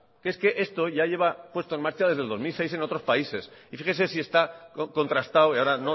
es que esto ya lleva puesto en marcha desde el dos mil seis en otros países y fíjese si está contrastado y ahora